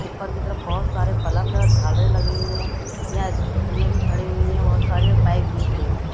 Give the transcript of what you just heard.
ऊपर की तरफ बहुत सारे बलफ़ झालरें लगीं हुई है यहां स्कूटीया भी खड़ी हुई हैं बहुत सारे बाइक भी खड़ी हुई है।